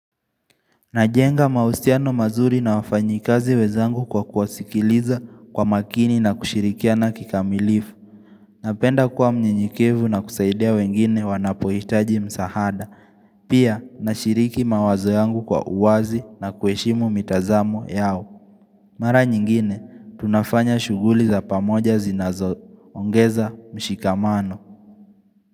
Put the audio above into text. Najenga mahusiano mazuri na wafanyikazi wenzangu kwa kuwasikiliza kwa makini na kushirikiana kikamilifu. Napenda kuwa mnyenyekevu na kusaidia wengine wanapohitaji msahada. Pia, nashiriki mawazo yangu kwa uwazi na kuheshimu mitazamo yao. Mara nyingine, tunafanya shuguli za pamoja zinazo. Ongeza mshikamano.